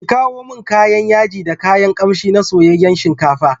Ki kawo min kayan yaji da kayan kamshi na soyayyen shinkafa.